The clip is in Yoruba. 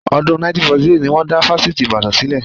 Ọdún 1948 ni wọn dá Fásitì Ibadan sílẹ̀